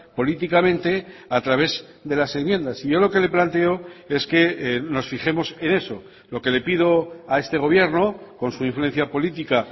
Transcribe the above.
políticamente a través de las enmiendas y yo lo que le planteo es que nos fijemos en eso lo que le pido a este gobierno con su influencia política